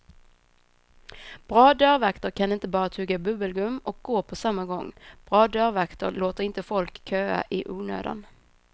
Bra dörrvakter kan inte bara tugga bubbelgum och gå på samma gång, bra dörrvakter låter inte folk köa i onödan.